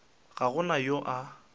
ga go na yo a